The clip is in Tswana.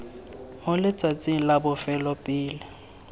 mo letsatsing la bofelo pele